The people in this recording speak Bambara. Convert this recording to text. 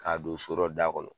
K'a don so dɔ da kɔnɔ